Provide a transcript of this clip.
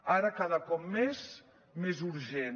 ara cada cop més més urgent